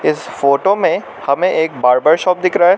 इस फोटो में हमें एक बार्बर शॉप दिख रहा--